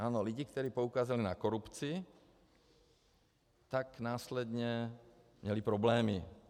Ano, lidé, kteří poukazují na korupci, tak následně měli problémy.